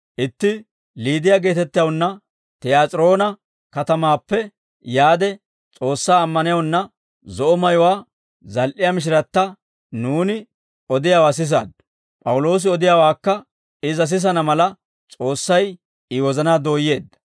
Itti Liidiyaa geetettewunna, Tiyaas'iroona katamaappe yaade S'oossaa ammanewunna, zo'o mayuwaa zal"iyaa mishiratta, nuuni odiyaawaa sisaaddu; P'awuloosi odiyaawaakka iza sisana mala S'oossay I wozanaa dooyeedda.